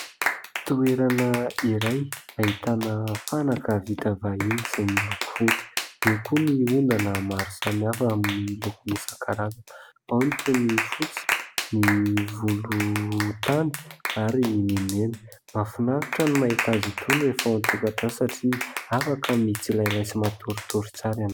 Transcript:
Toerana iray, ahitana fanaka vita vahiny izay miloko fotsy. Eo koa ny ondana maro samihafa amin'ny lokony isankarazany. Ao ny toy ny fotsy, ny volontany ary ny mena. Mahafinaritra ny mahita azy itony rehefa ao antokatrano satria afaka mitsilailay sy matoritory tsara ianao.